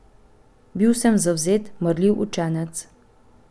Bil sem zavzet, marljiv učenec.